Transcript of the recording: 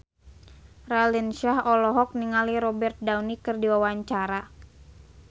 Raline Shah olohok ningali Robert Downey keur diwawancara